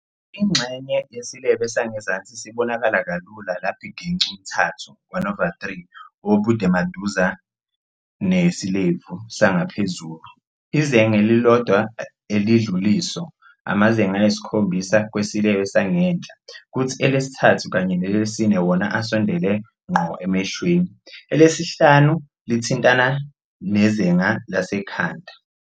Ingxenye yesilebe sangezansi sibonakala kalula lapho igec' umthathu, one over three, wobudemaduze nesilebe sangaphezulu. Izeng' elilodwa elidlul' iso. Amazeng' ayisi-7 kwisilebe sangenhla, kuthi elesithathu kanye nelesine wona asondele ngqo emehlweni, elesihlanu lithintana nezenga lasekhanda.